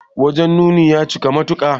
Wajen nuni ya cika matuka.